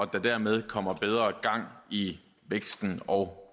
der dermed kommer bedre gang i væksten og